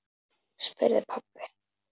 spurði pabbi.